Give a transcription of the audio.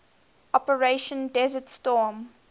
operation desert storm